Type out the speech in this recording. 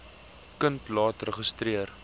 kind laat registreer